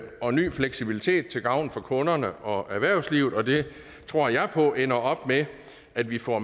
og ny fleksibilitet til gavn for kunderne og erhvervslivet og det tror jeg på ender op med at vi får